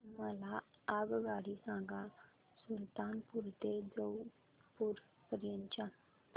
मला आगगाडी सांगा सुलतानपूर ते जौनपुर पर्यंत च्या